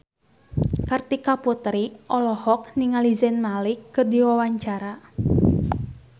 Kartika Putri olohok ningali Zayn Malik keur diwawancara